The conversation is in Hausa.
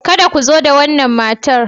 Kada ku zo da wannan matar.